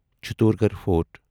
Chittorgarh fort